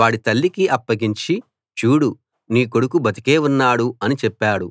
వాడి తల్లికి అప్పగించి చూడు నీ కొడుకు బతికే ఉన్నాడు అని చెప్పాడు